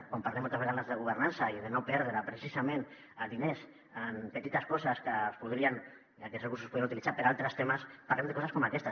quan parlem moltes vegades de governança i de no perdre precisament diners en petites coses i que aquests recursos es podrien utilitzar per a altres temes parlem de coses com aquestes